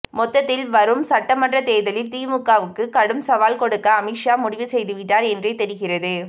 மொத்ததில் வரும் சட்டமன்ற தேர்தலில் திமுகவுக்கு கடும் சவால் கொடுக்க அமித்ஷா முடிவு செய்துவிட்டார் என்றே தெரிகிறது